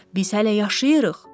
Biz hələ yaşayırıq.